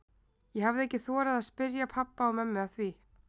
Ég hafði ekki þorað að spyrja pabba og mömmu að því.